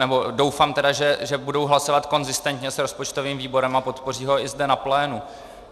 Nebo doufám tedy, že budou hlasovat konzistentně s rozpočtovým výborem a podpoří ho i zde na plénu.